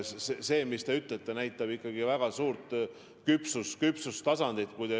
See, mis te ütlete, näitab ikkagi väga suurt küpsust.